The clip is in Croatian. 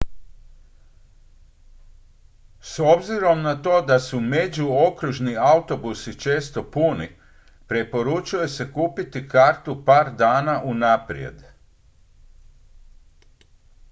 s obzirom na to da su međuokružni autobusi često puni preporučuje se kupiti kartu par dana unaprijed